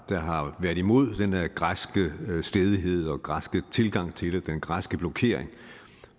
der har været imod den her græske stædighed græske tilgang til det og den græske blokering